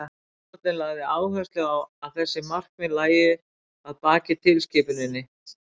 dómstóllinn lagði áherslu á að þessi markmið lægju að baki tilskipuninni